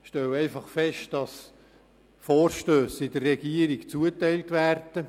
Ich stelle einfach fest, dass die Vorstösse in der Regierung zugeteilt werden.